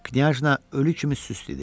Knyajna ölü kimi süst idi.